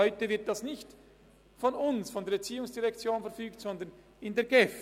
Heute wird dies nicht von uns, nicht von der ERZ verfügt, sondern von der GEF.